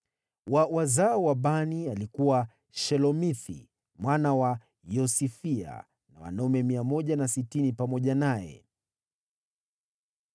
wa wazao wa Bani, alikuwa Shelomithi mwana wa Yosifia na wanaume 160 pamoja naye;